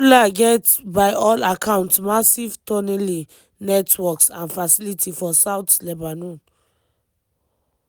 "hezbollah get by all accounts massive tunnelling networks and facilities for south lebanon.